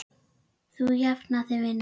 Þú jafnar þig vinur.